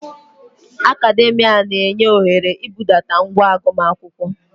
Academa na-enye ohere ibudata ngwa agụmakwụkwọ.